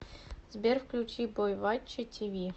сбер включи бойвачча ти ви